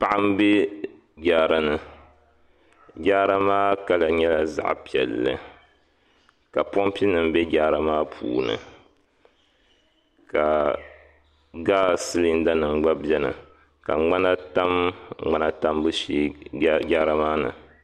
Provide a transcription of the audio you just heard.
paɣa n be Jaara ni Jaara maa kala nyɛla zaɣa piɛli ka pompi nim be jaaramaa puuni ka gasi silinda nim gba beni ka mŋana tam mŋana tambu shɛɛ Jaara maa ni.